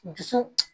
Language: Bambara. Dusu